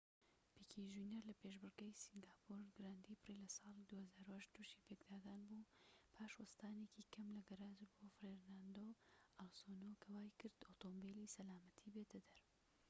پیکێ جونیەر لە پێشبڕكێی سینگاپۆر گراند پری-ساڵی ٢٠٠٨ توشی پێکدادان بوو پاش وەستانێکی کەم لە گەراج بۆ فێرناندۆ ئەلۆنسۆ کە وایکرد ئۆتۆمبیلی سەلامەتی بێتە دەر